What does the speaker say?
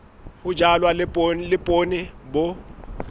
ho jalwa le poone bo